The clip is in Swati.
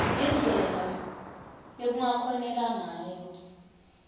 ngendlela lekungakhoneka ngayo